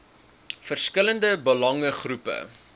verskillende belange groepe